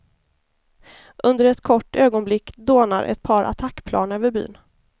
Under ett kort ögonblick dånar ett par attackplan över byn.